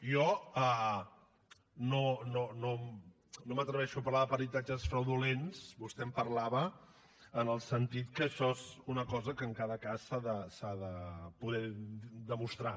jo no m’atreveixo a parlar de peritatges fraudulents vostè en parlava en el sentit que això és una cosa que en cada cas s’ha de poder demostrar